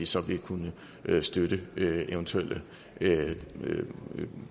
så vil kunne støtte eventuelle